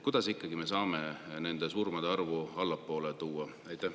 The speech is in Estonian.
Kuidas me ikkagi saame nende surmade arvu allapoole tuua?